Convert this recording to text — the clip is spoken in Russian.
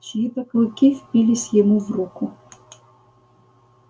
чьи то клыки впились ему в руку